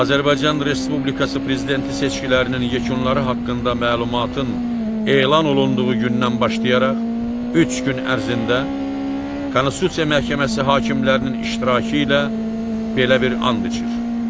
Azərbaycan Respublikası prezidenti seçkilərinin yekunları haqqında məlumatın elan olunduğu gündən başlayaraq üç gün ərzində Konstitusiya Məhkəməsi hakimlərinin iştirakı ilə belə bir and içir.